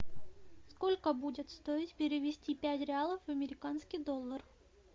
сколько будет стоить перевести пять реалов в американский доллар